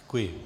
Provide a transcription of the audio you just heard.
Děkuji.